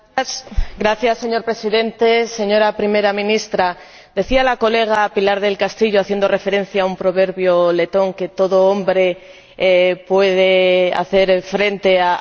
Señor Presidente, señora Primera Ministra, decía mi colega Pilar del Castillo, haciendo referencia a un proverbio letón, que todo hombre puede hacer frente a su destino.